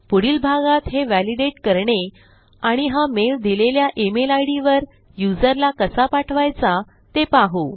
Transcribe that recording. पुढील भागात हे व्हॅलिडेट करणे आणि हा मेल दिलेल्या email इद वर युजरला कसा पाठवायचा ते पाहू